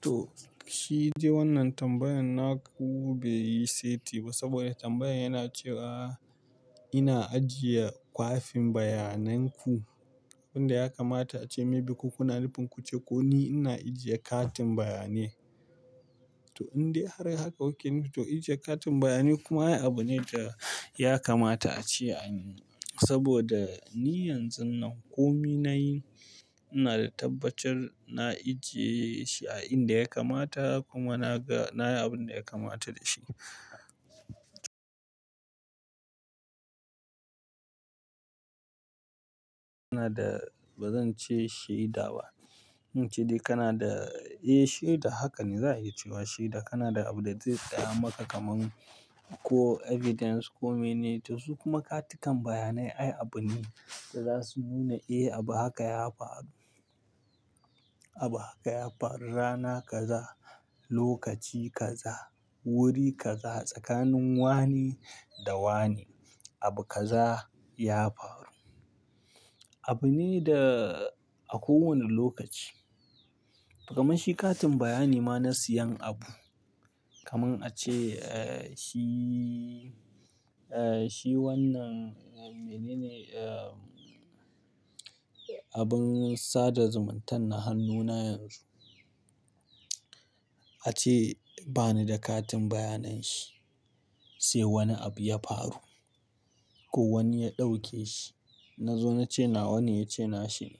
To, shi dai wannan tambayan na ku bai yi saiti ba. Saboda tambayan yana cewa ina ajiye kwafin bayanan ku, abin da ya kamata a ce mai bi kuna nufin kuce ko ni ina ajiye katin bayanai. To, in dai har haka okay ni to ajiye katin bayanai kuma ya yi abu ne da ya kamata a ce. Saboda ni yanzun nan komai na yi, ina da tabbacin na ajiye shi a inda ya kamata kuma na ga na yi abin da ya kamata da shi. Ina da ba zan ce shaida ba. In ce dai kana da, eh shaida haka ne za a yi cewa shaida kana da abin da zai tsaya maka kaman ko evidence ko mene. To su kuma katakan bayanai ai abu ne da za su nuna eh abu haka ya faru. Abu haka ya faru rana kaza, lokaci kaza, wuri kaza, tsakanin wane da wane abu kaza ya faru. Abu ne da a kowane lokaci. Kaman shi katin bayani ma na siyan abu. Kaman a ce, eh shi, eh shi wannan mene ne, eh abin sada zumuntan na hannuna yanzu. A ce bani da katin bayanan shi sai wani abu ya faru ko wani ya ɗauke shi. Na zo na ce na wani ya ce na shi ne.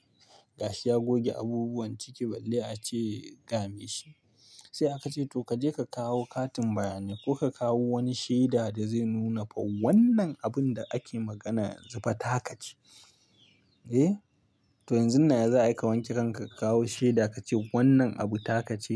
Gashi ya goge abubuwan ciki balle a ce game shi. Sai aka ce to ka je ka kawo katin bayanai ko ka kawo wani shaida da zai nuna fa wannan abun da ake magana yanzu fa ta ka ce. Eh, to yanzun nan ya za'a yi ka wanke kanka ka kawo shaida ka ce wannan abu ta ka ci.